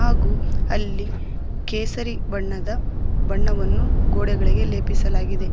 ಹಾಗೂ ಅಲ್ಲಿ ಕೇಸರಿ ಬಣ್ಣದ ಬಣ್ಣವನ್ನು ಗೋಡೆಗಳಿಗೆ ಲೇಪಿಸಲಾಗಿದೆ.